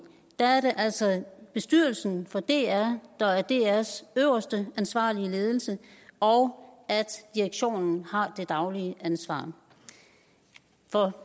altså er bestyrelsen for dr der er drs øverste ansvarlige ledelse og at direktionen har det daglige ansvar